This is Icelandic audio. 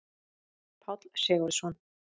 Páll Sigurðsson.